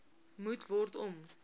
moet word om